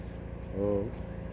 og